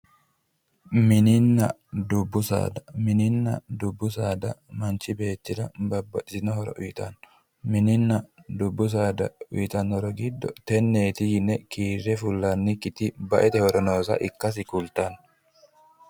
Mininna dubbu saada, mininna dubbu saada manchi beettira babbaxxitino horo uytanno, mininna dubbu saada giddo uytanno horo giddo tenneeti yine kiirre fullannikkiti baete horo nooseta ikkase kultanno